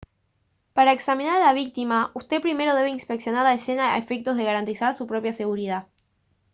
para examinar a la víctima usted primero debe inspeccionar la escena a efectos de garantizar su propia seguridad